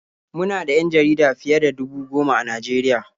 Mu na da 'yan jarida fiye da dubu goma a Najeriya.